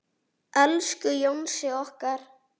Elsku Jónsi okkar.